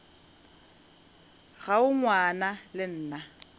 ga o ngwana le nna